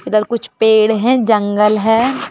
इधर कुछ पेड़ हैं जंगल है।